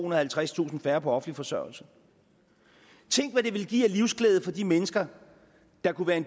og halvtredstusind færre på offentlig forsørgelse tænk hvad det ville give af livsglæde for de mennesker der kunne